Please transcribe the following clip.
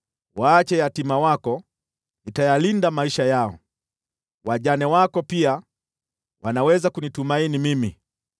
Waache yatima wako; nitayalinda maisha yao. Wajane wako pia wanaweza kunitumaini mimi.”